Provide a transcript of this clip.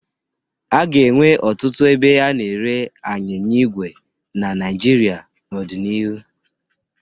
A ga-enwe ọtụtụ ebe a na-ere anyịnya igwe na Naịjirịa n'ọdịnihu.